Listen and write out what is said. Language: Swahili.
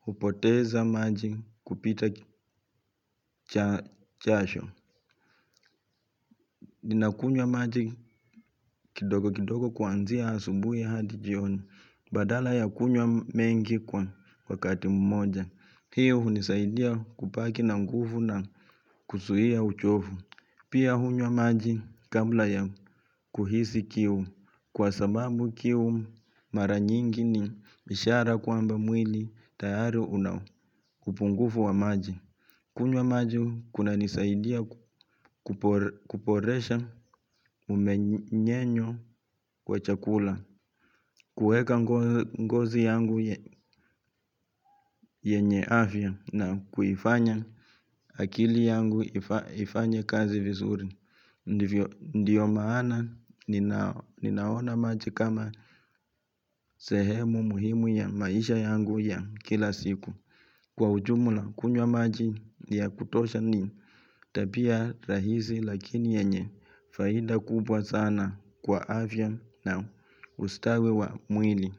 hupoteza maji kupita jasho. Ninakunywa maji kidogo kidogo kuanzia asubuhi hadi jioni. Badala ya kunywa mengi kwa wakati mmoja hii hunisaidia kubaki na nguvu na kuzuia uchovu. Pia hunywa maji kabla ya kuhisi kiu kwa sababu kiu mara nyingi ni ishara kwamba mwili tayari una upungufu wa maji. Kunywa maji kunanisaidia kuboresha mmeng'enyo kwa chakula. Kueka ngozi yangu yenye afya na kuifanya akili yangu ifanye kazi vizuri. Ndiyo maana ninaona maji kama sehemu muhimu ya maisha yangu ya kila siku. Kwa ujumula kunywa maji ya kutosha ni tabia rahisi lakini yenye faida kubwa sana kwa afya na ustawi wa mwili.